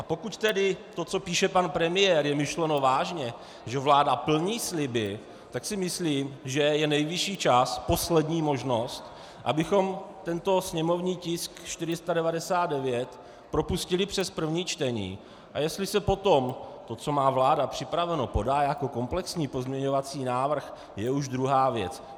A pokud tedy to, co píše pan premiér, je myšleno vážně, že vláda plní sliby, tak si myslím, že je nejvyšší čas, poslední možnost, abychom tento sněmovní tisk 499 propustili přes první čtení a jestli se potom to, co má vláda připraveno, podá jako komplexní pozměňovací návrh, je už druhá věc.